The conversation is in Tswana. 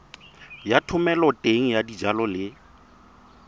ya thomeloteng ya dijalo le